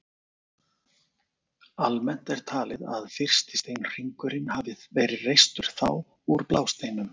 Almennt er talið að fyrsti steinhringurinn hafi verið reistur þá, úr blásteinum.